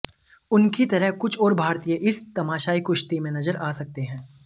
उनकी तरह कुछ और भारतीय इस तमाशाई कुश्ती में नजर आ सकते हैं